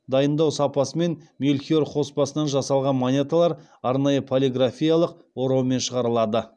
дайындау сапасымен мельхиор қоспасынан жасалған монеталар арнайы полиграфиялық ораумен шығарылады